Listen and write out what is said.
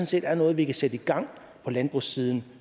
set er noget vi kan sætte i gang på landbrugssiden